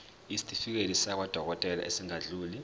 isitifiketi sakwadokodela esingadluli